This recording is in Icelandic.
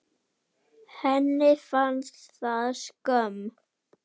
Henni fannst það skömm.